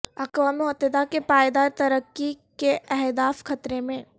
اقوام متحدہ کے پائیدار ترقی کے اہداف خطرے میں